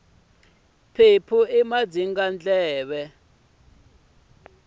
mphephu i madzingandleve